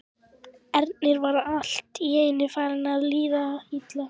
Erni var allt í einu farið að líða illa.